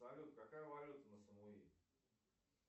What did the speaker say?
салют какая валюта на самуи